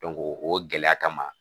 o gɛlɛya kama